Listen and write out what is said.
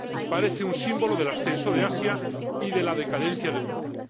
Parece un símbolo del ascenso de Asia y de la decadencia de Europa.